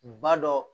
Ba dɔ